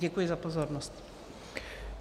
Děkuji za pozornost.